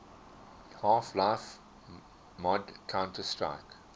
half life mod counter strike